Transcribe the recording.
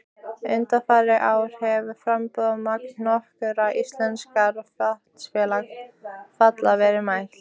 Undanfarin ár hefur framburðarmagn nokkurra íslenskra vatnsfalla verið mælt.